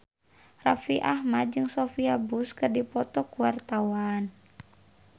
Raffi Ahmad jeung Sophia Bush keur dipoto ku wartawan